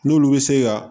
N'olu bɛ se ka